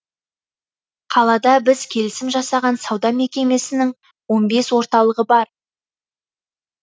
қалада біз келісім жасаған сауда мекемесінің он бес орталығы бар